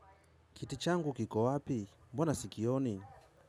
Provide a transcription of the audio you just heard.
Kiti changu kiko wapi? Mbona sikioni?